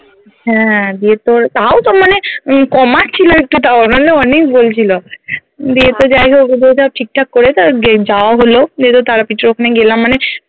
হ্যাঁ দিয়ে তোর তাও তো মানে উম কমাচ্ছিলো একটু তাও নাহলে অনেক বলছিলো দিয়ে তো যাই হোক ঠিক ঠাক করে তবে গে যাওয়া হলো দিয়ে তোর তারাপীঠের ওখানে গেলাম মানে